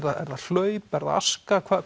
það hlaup er það aska